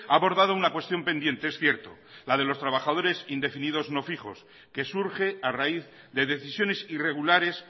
ha abordado una cuestión pendiente es cierto la de los trabajadores indefinidos no fijos que surge a raíz de decisiones irregulares